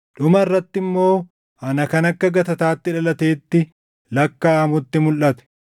dhuma irratti immoo ana kan akka gatataatti dhalateetti lakkaaʼamutti mulʼate.